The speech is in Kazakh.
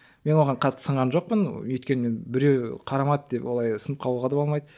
мен оған қатты сынған жоқпын өйткені мен біреу қарамады деп олай сынып қалуға да болмайды